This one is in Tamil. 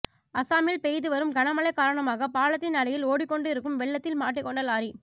அசாமில் பெய்து வரும் கனமழை காரணமாக பாலத்தின் அடியில் ஒடிக்கொண்டு இருக்கும் வெள்ளத்தில் மாட்டிக் கொண்ட லாரி